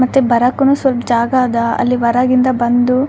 ಮತ್ತೆ ಬರಕುನು ಸ್ವಲ್ಪ ಜಾಗ ಅದ ಅಲ್ಲಿ ಹೊರಗಿಂದ ಬಂದು --